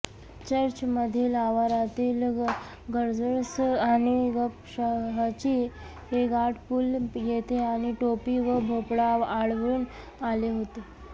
चर्चमधील आवारातील गेजर्स आणि गपशहाचे गाठ पुल येथे आणि टोपी व भोपळा आढळून आले होते